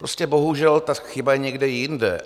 Prostě bohužel ta chyba je někde jinde.